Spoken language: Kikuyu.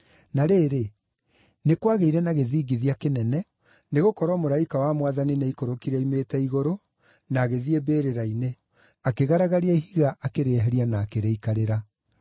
Na rĩrĩ, nĩ kwagĩire na gĩthingithia kĩnene, nĩgũkorwo mũraika wa Mwathani nĩaikũrũkire oimĩte igũrũ na agĩthiĩ mbĩrĩra-inĩ, akĩgaragaria ihiga akĩrĩeheria na akĩrĩikarĩra.